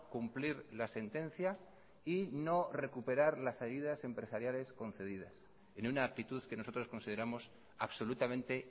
cumplir la sentencia y no recuperar las ayudas empresariales concedidas en una actitud que nosotros consideramos absolutamente